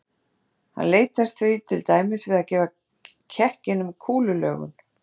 Hann leitast því til dæmis við að gefa kekkinum kúlulögun.